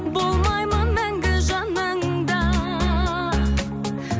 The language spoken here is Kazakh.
болмаймын мәңгі жаныңда